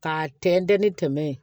K'a tɛntɛn ni tɛmɛ yen